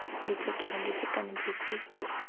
g ditlhokego dife kana dife